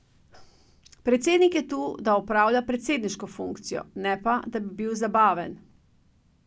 Predsednik je tu, da opravlja predsedniško funkcijo, ne pa, da bi bil zabaven.